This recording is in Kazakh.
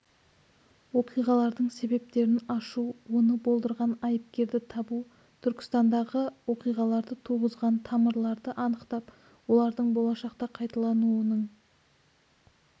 оқиғалардың себептерін ашу оны болдырған айыпкерді табу түркістандағы оқиғаларды туғызған тамырларды анықтап олардың болашақта қайталануының